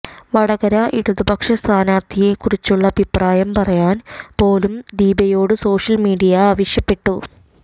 വടകര ഇടുതപക്ഷ സ്ഥാനാർത്ഥിയെ കുറിച്ചുള്ള അഭിപ്രായം പറയാൻ പോലും ദീപയോട് സോഷ്യൽ മീഡിയ ആവശ്യപ്പെട്ടു